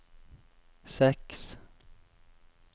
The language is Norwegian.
seks